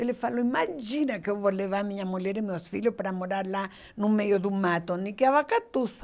Ele falou, imagina que eu vou levar minha mulher e meus filhos para morar lá no meio do mato, nem que a vaca tuça.